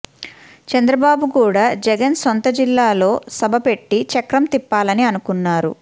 చంద్రబాబు కూడా జగన్ సొంత జిల్లాలో సభ పెట్టి చక్రం తిప్పాలని అనుకున్నారు